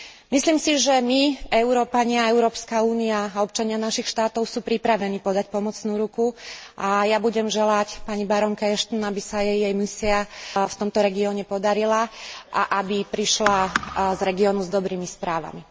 Myslím si, že my Európania, Európska únia a občania našich štátov sú pripravení podať pomocnú ruku, a ja budem želať pani barónke Ashtonovej, aby sa jej jej misia v tomto regióne podarila a aby prišla z regiónu s dobrými správami.